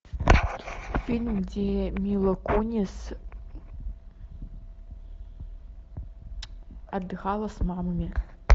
фильм где мила кунис отдыхала с мамами